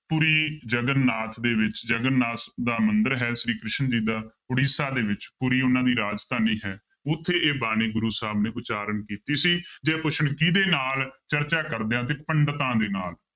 ਪੁਰੀ ਜਗਨਨਾਥ ਦੇ ਵਿੱਚ ਜਗਨਨਾਥ ਦਾ ਮੰਦਿਰ ਹੈ ਸ੍ਰੀ ਕ੍ਰਿਸ਼ਨ ਜੀ ਦਾ ਉੜੀਸਾ ਦੇ ਵਿੱਚ, ਪੁਰੀ ਉਹਨਾਂ ਦੀ ਰਾਜਧਾਨੀ ਹੈ ਉੱਥੇ ਇਹ ਬਾਣੀ ਗੁਰੂ ਸਾਹਿਬ ਨੇ ਉਚਾਰਨ ਕੀਤੀ ਸੀ ਜੇ ਪੁੱਛਣ ਕਿਹਦੇ ਨਾਲ ਚਰਚਾ ਕਰਦਿਆਂ ਤੇ ਪੰਡਿਤਾਂ ਦੇ ਨਾਲ